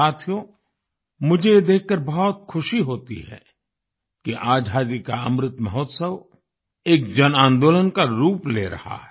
साथियो मुझे ये देखकर बहुत ख़ुशी होती है कि आज़ादी का अमृत महोत्सव एक जन आंदोलन का रूप ले रहा है